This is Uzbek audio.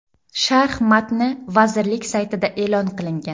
Sharh matni vazirlik saytida e’lon qilingan.